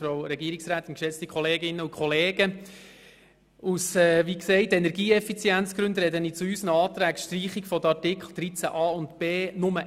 Aus Energieeffizienzgründen spreche ich hier nur einmal zu unseren Anträgen über die Streichung der Artikel 13a und 13b.